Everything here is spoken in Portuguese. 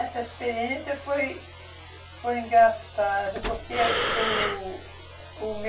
Essa experiência foi foi engraçada porque o o